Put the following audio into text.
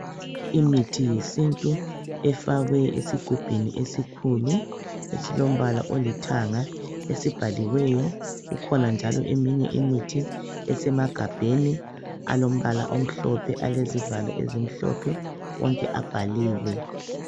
Imithi yesintu efakwe esigubhini esikhulu esilombala olithanga esibhaliweyo .Kukhona njalo eminye imithi esemagabheni alombala omhlophe alezivalo ezimhlophe wonke abhaliwe .